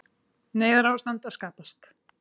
Neyðarástand að skapast